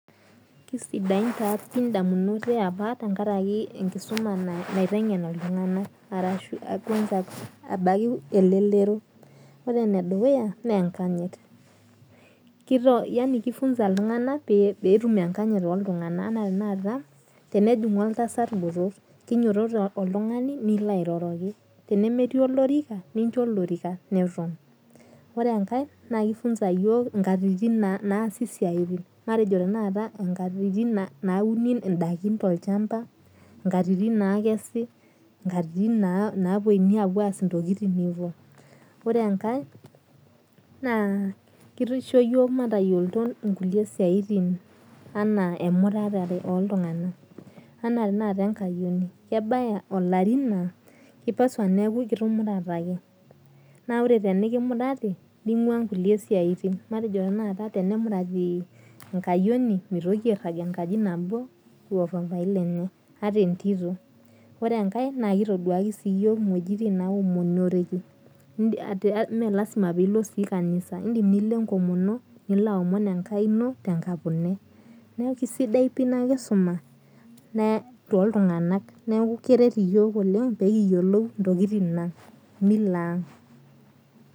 Kesidai taa ndamunot eapa tenkaraki enkisuma naitengen ltunganak ebaki elelero ore endukuya na enkanyit na kifunza ltunganak petum enkanyit toltunganak anaa enejingu oltasat botor kinyototo oltungani nelo airoroki tenemetii olorika ninyototo nincho olorika na kifunza yiok nkatitim naasi siatin nauni ndaki tolchamba nkatitin nakesi nkatitin nauni ore enkae na kisho yiok matayiolo nkulie siatin anaa emurata oltunganak na ore temikimurati ningua nkulie siatin ore enkae na kitoduaki yiok wuejitin naomonieki melasima pilo kanisa indim nilo enkomono neaku keret yiok oleng pekiyiolou mila aang